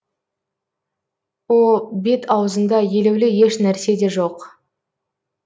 о бет аузында елеулі еш нәрсе де жоқ